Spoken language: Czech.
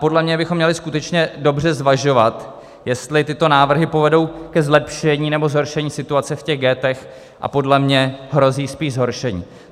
Podle mě bychom měli skutečně dobře zvažovat, jestli tyto nápady povedou ke zlepšení, nebo zhoršení situace v těch ghettech, a podle mě hrozí spíš zhoršení.